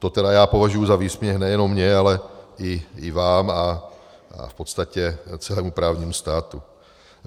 To tedy já považuji za výsměch nejenom mně, ale i vám a v podstatě celému právnímu státu.